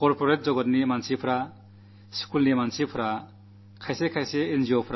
നമ്മുടെ നാട്ടിലെ യുവാക്കൾ ചില എൻ